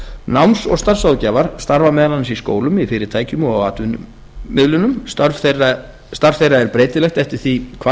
náms og starfsráðgjafar starfa meðal annars í skólum í fyrirtækjum og á atvinnumiðlunum starf þeirra er breytilegt eftir því hvar